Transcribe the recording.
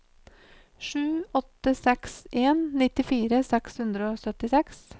sju åtte seks en nittifire seks hundre og syttiseks